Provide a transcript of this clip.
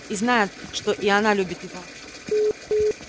и знает что и она любит его